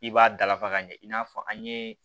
I b'a dalafa ka ɲɛ i n'a fɔ an ye